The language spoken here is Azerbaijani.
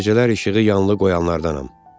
Gecələr işığı yanılı qoyanlardanam.